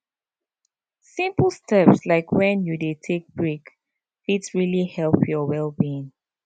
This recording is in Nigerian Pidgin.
simple step like when you dey take break fit really help your wellbeing